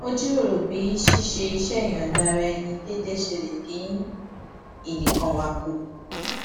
ó jíròrò bí ṣíṣe iṣé ìyòǹda ara ẹni déédéé ṣe lè dín ìnìkanwà kù